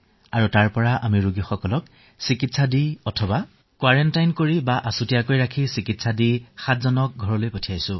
আৰু যি ১৬টা ধনাত্মক পৰিঘটনা পোৱা গৈছে আমি তেওঁলোকক কোৱাৰেণ্টাইন কৰি আচুতীয়াকৈ ৰাখি ৭ জন লোকক মুকলিও কৰি দিছো